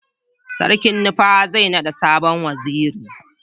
sarkin nupawa zai nada sabon waziri